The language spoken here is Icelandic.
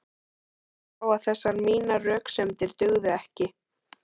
Ég sá að þessar mínar röksemdir dugðu ekki.